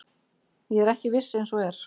Ég er ekki viss eins og er.